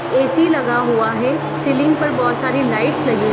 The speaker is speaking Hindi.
ए.सी. लगा हुआ है सीलिंग पर बहुत सारी लाइटस लगी --